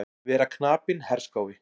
Vera knapinn herskái.